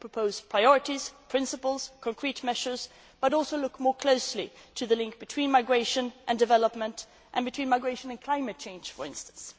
terms. It will propose priorities, principles and concrete measures but will also look more closely at the link between migration and development and between migration and climate change, for instance.